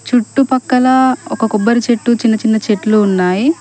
చుట్టుపక్కల ఒక కొబ్బరి చెట్టు చిన్న చిన్న చెట్లు ఉన్నాయి.